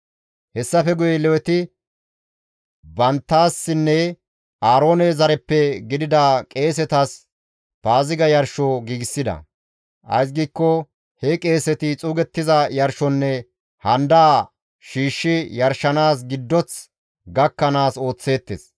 Hessafe guye Leweti banttassinne Aaroone zareppe gidida qeesetas Paaziga yarsho giigsida; ays giikko he qeeseti xuugettiza yarshonne handaa shiishshi yarshanaas giddoth gakkanaas ooththeettes.